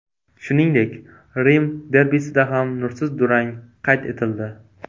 Shuningdek, Rim derbisida ham nursiz durang qayd etildi.